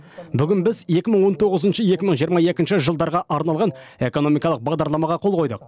бүгін біз екі мың он тоғызыншы екі мың жиырма екінші жылдарға арналған экономикалық бағдарламаға қол қойдық